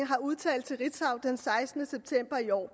har udtalt til ritzau den sekstende september i år